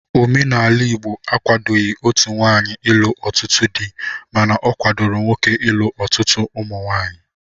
Omenala Igbo akwadoghị otu nwaanyị ịlụ ọtụtụ di mana ọ kwadoro nwoke ilu ọtụtụ ụmụnwaanyị